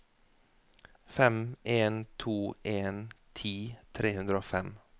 fem en to en ti tre hundre og fem